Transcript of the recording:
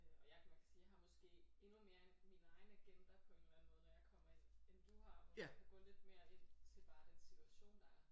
Øh og jeg kan nok sige at jeg har måske endnu mere en min egen agenda på en eller anden måde når jeg kommer ind end du har hvor du kan gå lidt mere ind til bare den situation der er